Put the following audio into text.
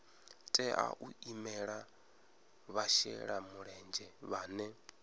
tea u imela vhashelamulenzhe vhane